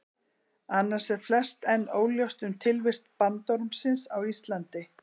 Annars er flest enn óljóst um tilvist bandormsins á Íslandi.